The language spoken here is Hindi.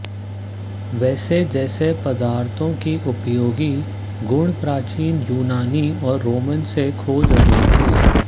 वसा जैसे पदार्थों की उपयोगी गुण प्राचीन यूनानी और रोमन से खोज रहे थे